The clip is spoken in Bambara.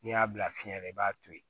N'i y'a bila fiɲɛ na i b'a to yen